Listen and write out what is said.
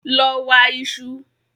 Lọ wa iṣu!